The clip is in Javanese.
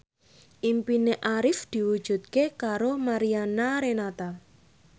impine Arif diwujudke karo Mariana Renata